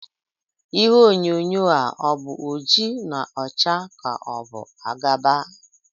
Ihe onyonyo a ọ̀ bụ oji na ọcha ka ọ bụ agba?